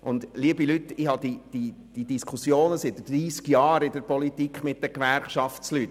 Ich führe diese Diskussion seit 30 Jahren mit dem Gewerkschaftspersonal.